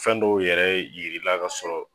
Fɛn dɔw yɛrɛ yirila ka sɔrɔ